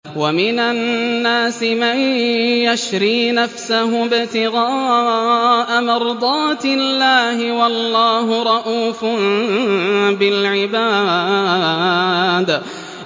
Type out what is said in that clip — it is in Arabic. وَمِنَ النَّاسِ مَن يَشْرِي نَفْسَهُ ابْتِغَاءَ مَرْضَاتِ اللَّهِ ۗ وَاللَّهُ رَءُوفٌ بِالْعِبَادِ